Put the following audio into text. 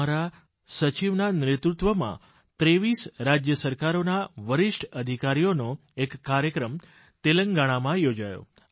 અમારા સચીવના નેતૃત્વમાં 23 રાજ્ય સરકારોના વરિષ્ઠ અધિકારીઓનો એક કાર્યક્રમ તેલંગાણામાં યોજાયો